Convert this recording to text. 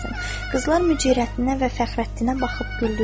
Qızlar Mücərrəttinə və Fəxrəddinə baxıb güldülər.